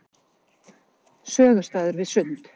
Sögustaður við Sund.